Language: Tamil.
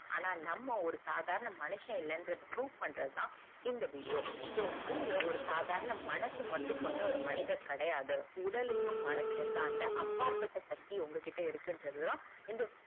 ஆண நம்ம ஒரு சாதாரண மனுஷன் இல்லங்குறது proof பண்றதுதான் இந்த video so நீங்க ஒரு சாதாரண மனசு மட்டும் கொண்ட ஒரு மனிதர் கிடையாது உடலையும் மனசையும் தாண்ட அப்பாற்ப்பட்ட சக்தி உங்க கிட்டஇருக்கு இன்றதுதான் இந்த